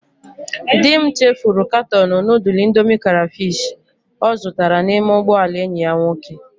Di m chefuru katọọnụ nudul indomi karafish o zutara n'ime ugboala enyi ya nwoke.